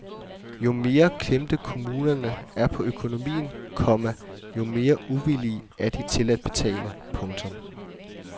Jo mere klemte kommunerne er på økonomien, komma jo mere uvillige er de til at betale. punktum